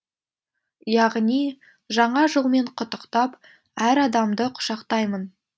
яғни жаңа жылмен құттықтап әр адамды құшақтаймын